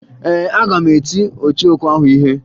Ee, aga m eti ọchọokwu ahụ ihe